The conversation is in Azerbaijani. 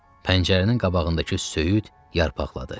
Pəncərənin qabağındakı söyüd yarpaqladı.